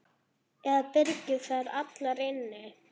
Eða byrgir þær allar inni.